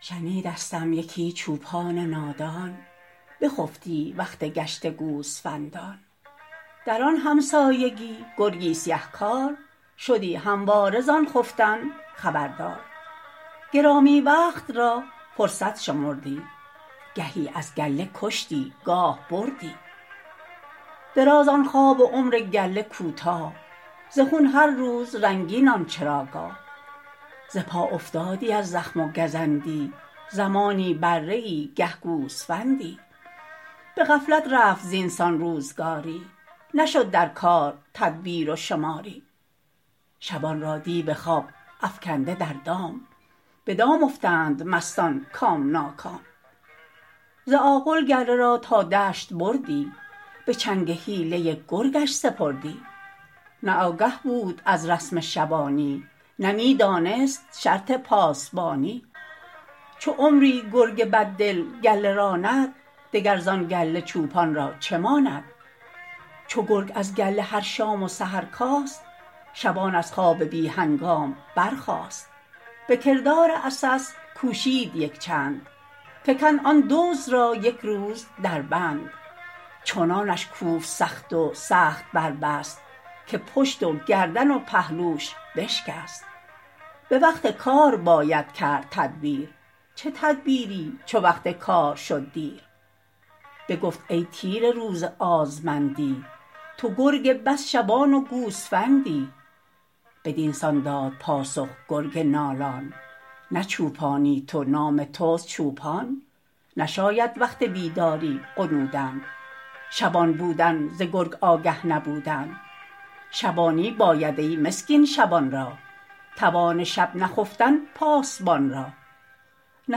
شنیدستم یکی چوپان نادان بخفتی وقت گشت گوسفندان در آن همسایگی گرگی سیه کار شدی همواره زان خفتن خبردار گرامی وقت را فرصت شمردی گهی از گله کشتی گاه بردی دراز آن خواب و عمر گله کوتاه ز خون هر روز رنگین آن چراگاه ز پا افتادی از زخم و گزندی زمانی بره ای گه گوسفندی بغفلت رفت زینسان روزگاری نشد در کار تدبیر و شماری شبان را دیو خواب افکنده در دام بدام افتند مستان کام ناکام ز آغل گله را تا دشت بردی بچنگ حیله گرگش سپردی نه آگه بود از رسم شبانی نه میدانست شرط پاسبانی چو عمری گرگ بد دل گله راند دگر زان گله چوپان را چه ماند چو گرگ از گله هر شام و سحر کاست شبان از خواب بی هنگام برخاست بکردار عسس کوشید یک چند فکند آن دزد را یکروز در بند چنانش کوفت سخت و سخت بر بست که پشت و گردن و پهلوش بشکست بوقت کار باید کرد تدبیر چه تدبیری چو وقت کار شد دیر بگفت ای تیره روز آزمندی تو گرگ بس شبان و گوسفندی بدینسان داد پاسخ گرگ نالان نه چوپانی تو نام تست چوپان نشاید وقت بیداری غنودن شبان بودن ز گرگ آگه نبودن شبانی باید ای مسکین شبان را توان شب نخفتن پاسبان را نه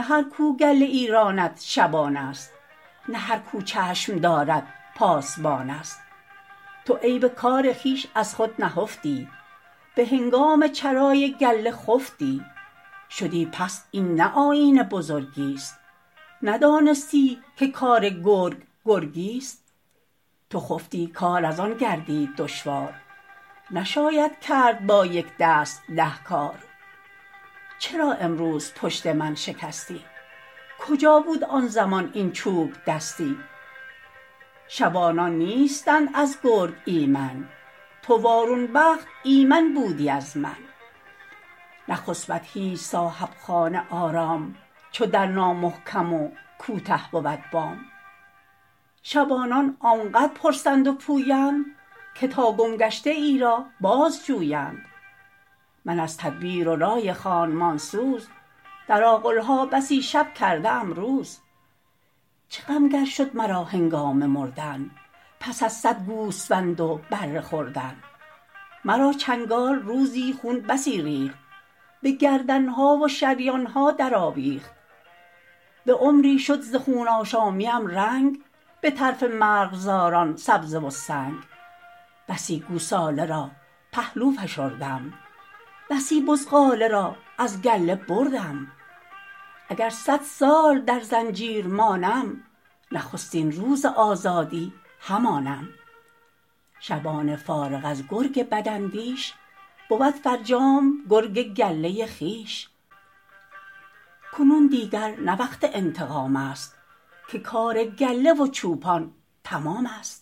هر کو گله ای راند شبان است نه هر کو چشم دارد پاسبان است تو عیب کار خویش از خود نهفتی بهنگام چرای گله خفتی شدی پست این نه آیین بزرگی است ندانستی که کار گرگ گرگی است تو خفتی کار از آن گردید دشوار نشاید کرد با یکدست ده کار چرا امروز پشت من شکستی کجا بود آن زمان این چوبدستی شبانان نیستند از گرگ ایمن تو وارون بخت ایمن بودی از من نخسبد هیچ صاحب خانه آرام چو در نامحکم و کوته بود بام شبانان آنقدر پرسند و پویند که تا گمگشته ای را باز جویند من از تدبیر و رای خانمانسوز در آغلها بسی شب کرده ام روز چه غم گر شد مرا هنگام مردن پس از صد گوسفند و بره خوردن مرا چنگال روزی خون بسی ریخت به گردنها و شریانها در آویخت بعمری شد ز خون آشامیم رنگ بطرف مرغزاران سبزه و سنگ بسی گوساله را پهلو فشردم بسی بزغاله را از گله بردم اگر صد سال در زنجیر مانم نخستین روز آزادی همانم شبان فارغ از گرگ بداندیش بود فرجام گرگ گله خویش کنون دیگر نه وقت انتقام است که کار گله و چوپان تمام است